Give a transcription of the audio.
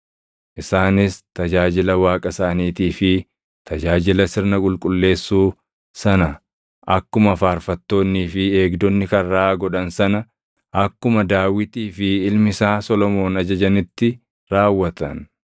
Isaanis tajaajila Waaqa isaaniitii fi tajaajila sirna qulqullessuu sana akkuma faarfattoonnii fi eegdonni karraa godhan sana akkuma Daawitii fi ilmi isaa Solomoon ajajanitti raawwatan.